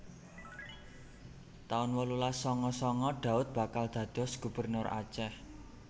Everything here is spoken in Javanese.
taun wolulas sanga sanga Daud bakal dados Gubernur Aceh